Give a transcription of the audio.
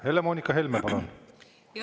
Helle-Moonika Helme, palun!